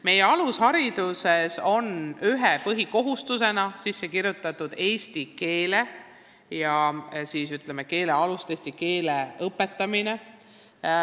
Meie alusharidussüsteemis on üheks põhikohustuseks seatud eesti keele õpetamine.